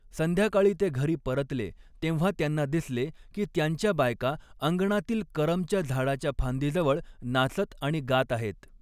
संध्याकाळी ते घरी परतले तेव्हा त्यांना दिसले की त्यांच्या बायका अंगणातील करमच्या झाडाच्या फांदीजवळ नाचत आणि गात आहेत.